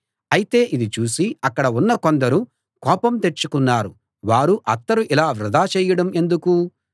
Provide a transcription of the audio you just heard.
అయితే ఇది చూసి అక్కడ ఉన్న కొందరు కోపం తెచ్చుకున్నారు వారు అత్తరు ఇలా వృధా చేయడం ఎందుకు